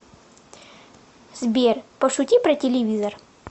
сбер пошути про телевизор